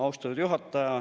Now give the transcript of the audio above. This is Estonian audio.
Austatud juhataja!